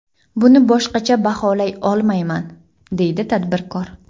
Buni boshqacha baholay olmayman”, deydi tadbirkor.